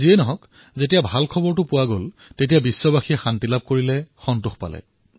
যি কি নহওক ভাল খবৰ হোৱাৰ পিছত সমগ্ৰ বিশ্বই স্বস্তিৰ নিশ্বাস কাঢ়িলে সন্তোষিত হল